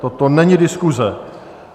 Toto není diskuse.